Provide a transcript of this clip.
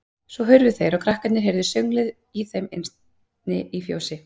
Svo hurfu þeir og krakkarnir heyrðu sönglið í þeim inni í fjósi.